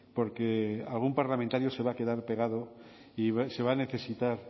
porque algún parlamentario se va a quedar pegado y se va a necesitar